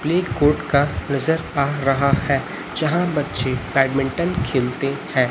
Play court का नजर आ रहा है जहां बच्चे बैडमिंटन खेलते हैं।